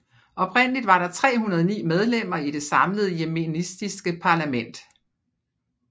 Oprindeligt var der 309 medlemmer i det samlede yemenitiske parlament